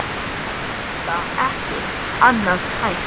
Enda ekki annað hægt.